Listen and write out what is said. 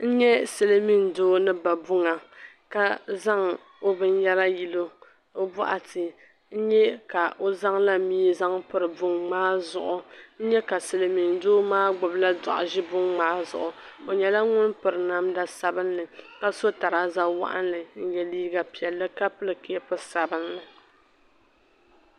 N Nye silimiin doo ni ba buŋ ka zaŋ o binyɛra yili o o bɔɣa ti n-nyɛ ka o zaŋ la mii zan piri niŋ maa zuɣu n n-ye ka silimiin doo maa gbubi la dɔɣu ʒi niŋ maa zuɣu o nyɛla ŋun piri namda sabinli ka so trouser waɣinli n-nye liiga piɛlli ka pili Cape sabinli.